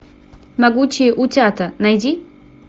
могучие утята найди